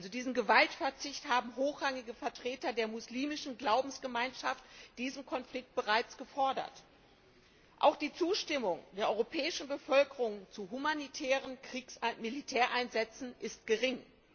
Diesen Gewaltverzicht haben hochrangige Vertreter der muslimischen Glaubensgemeinschaft in diesem Konflikt bereits gefordert. Auch die Zustimmung der europäischen Bevölkerung zu humanitären Militäreinsätzen ist gering.